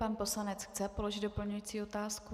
Pan poslanec chce položit doplňující otázku.